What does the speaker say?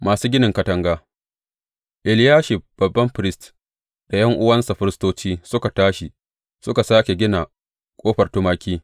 Masu ginin katanga Eliyashib babban firist da ’yan’uwansa firistoci suka tashi suka sāke gina Ƙofar Tumaki.